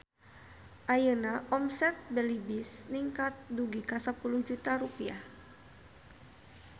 Ayeuna omset Belibis ningkat dugi ka 10 juta rupiah